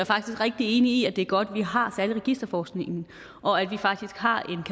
faktisk rigtig enig i at det er godt at vi har særlig registerforskningen og at vi har